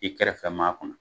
I kɛrɛfɛ maa kunna